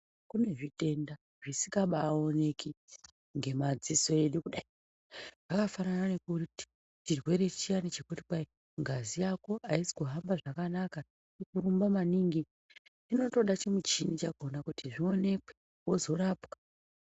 Kune zvitenda zvisikabaaoneki ngemadziso edu kudai. Zvakafanana nekuti chirwere chiyani chekuti kwai ngazi yako aisi kuhamba zvakanaka iri kurumba maningi inotoda chimuchhini chakhona kuti zvione kuzorapwa.